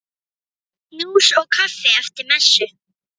Djús og kaffi eftir messu.